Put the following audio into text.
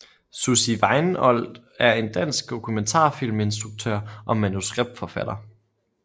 Sussie Weinold er en dansk dokumentarfilminstruktør og manuskriptforfatter